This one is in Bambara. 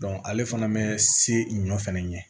ale fana bɛ se ɲɔ fɛnɛ ɲɛ